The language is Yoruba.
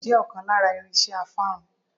Kóómbù jẹ́ ọ̀kan lára irinse afárun.